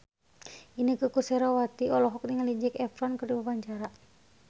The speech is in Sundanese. Inneke Koesherawati olohok ningali Zac Efron keur diwawancara